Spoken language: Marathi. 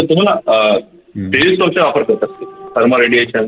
तुम्हाला अह thermalradiation